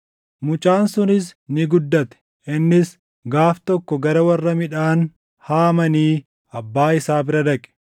Mucaan sunis ni guddate; innis gaaf tokko gara warra midhaan haamanii abbaa isaa bira dhaqe.